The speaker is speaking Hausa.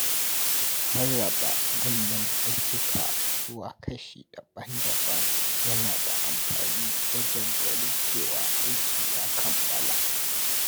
Rarraba manyan ayyuka zuwa kashi daban-daban yana da amfani wajen ganin cewa aiki ya kammala.